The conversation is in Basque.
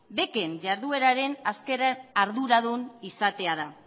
bec en ihardueraren azken arduradun izatea da